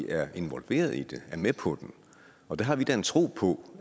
er involveret i det er med på den og der har vi da en tro på